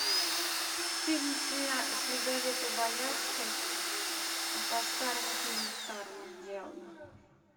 фильм с лизаветой боярской по старому фильму старому сделан